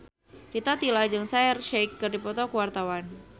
Rita Tila jeung Shaheer Sheikh keur dipoto ku wartawan